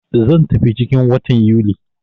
Zan tafi ciki 'n watan Yuli.